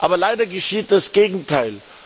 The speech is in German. Aber leider geschieht das Gegenteil.